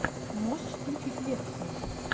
можешь включить лекцию